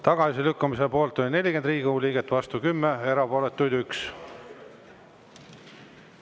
Tagasilükkamise poolt oli 40 Riigikogu liiget, vastu 10, erapooletuid 1.